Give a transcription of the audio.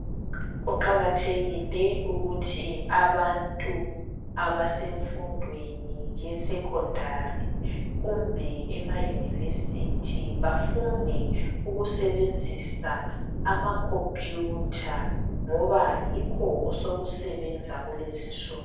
Kuqakathekile ukuthi abantu abasemfundweni yesecondary kumbe emayunivesithi bafunde ukusebenzisa amakhompiyutha ngoba yikho osokusebenza kulezinsuku.